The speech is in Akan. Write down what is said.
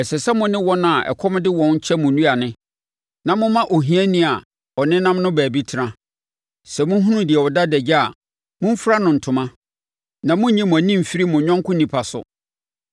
Ɛsɛ sɛ mo ne wɔn a ɛkɔm de wɔn kyɛ mo aduane na moma ohiani a ɔnenam no baabi tena. Sɛ mohunu deɛ ɔda adagya a, momfira no ntoma na monnyi mo ani mfiri mo yɔnko onipa so.